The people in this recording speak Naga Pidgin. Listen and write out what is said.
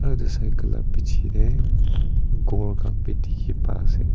udu cycle lah piche dey ghor khan bhi dikhi pai ase.